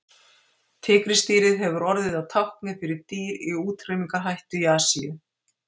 tígrisdýrið hefur orðið að tákni fyrir dýr í útrýmingarhættu í asíu